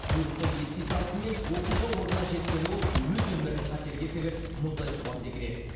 бұйрықты ести салысымен оқиға орнына жеткен ол өз өмірін қатерге тігіп мұздай суға секіреді